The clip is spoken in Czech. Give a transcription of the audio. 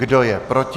Kdo je proti?